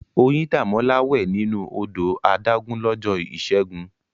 Oyindamola wẹ̀ nínú odò adágún lọ́jọ́ Ìṣẹ́gun.